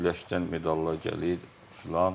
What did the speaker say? Güləşdən medallar gəlir filan.